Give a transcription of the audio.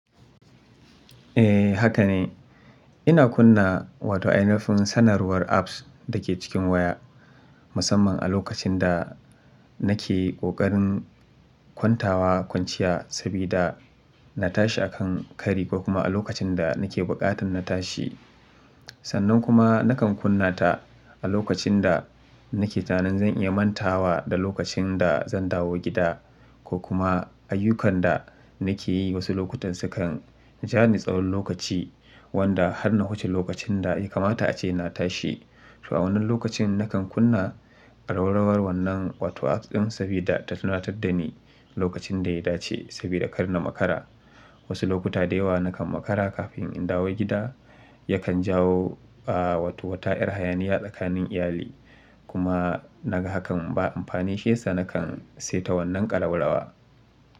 Eh haka ne. Ina kunna Wato, ainahin sanarwar apps da ke cikin waya, musamman a lokacin da nake ƙoƙarin kwantawa kwanciya saboda na tashi a kan kari ko kuma a lokacin da nake buƙatar na tashi. Sannan kuma nakan kunna ta a lokacin da nake tsananin zan iya mantawa da lokacin da zan dawo gida ko kuma ayyukan da nake yi wasu lokutan sukan ja ni tsawon lokaci wanda har na wuce lokacin da ya kamata ace na tashi. To a wannan lokacin nakan kunna ƙararrawar wannan Wato apps ɗin saboda ta tunatar da ni lokacin da ya dace sabida kar na makara. Wasu lokuta da yawa nakan makara kafin in dawo gida yakan jawo, ba Wato, wata yar hayaniya tsakanin iyali. Kuma naga hakan ba amfanin shi yasa nakan saita wannan ƙalubalawa.